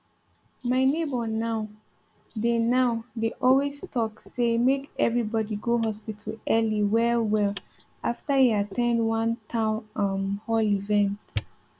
my neighbor now dey now dey always talk say make everybody go hospital early well well after e at ten d one town um hall event